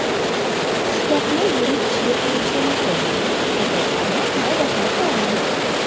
Pishloqni yirik tishli qirg‘ichdan o‘tkazing, ko‘katlarni mayda qilib to‘g‘rang.